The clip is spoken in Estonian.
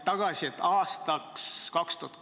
Aitäh hea küsimuse eest, lugupeetud Riigikogu liige Jüri Jaanson!